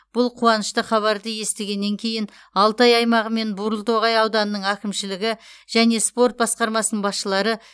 бұл қуанышты хабарды естігеннен кейін алтай аймағы мен бурылтоғай ауданының әкімшілігі және спорт басқармасының басшылары